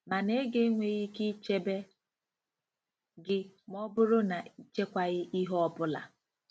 Mana ego enweghị ike ichebe gị ma ọ bụrụ na ị chekwaaghị ihe ọ bụla!